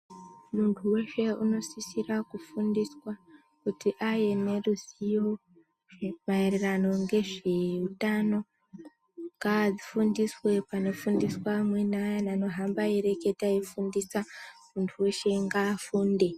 Muntu weshe unosisira kufundiswa kuti ave neruzivo maererano ngezveutano ngaa fundiswe panofundiswa amweni ayana anohamba eireketa eifundisa muntu weshe ngaafunde.